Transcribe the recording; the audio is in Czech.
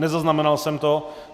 Nezaznamenal jsem to.